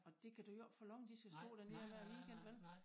Og dét kan du jo ikke forlange de skal stå derne hver weekend vel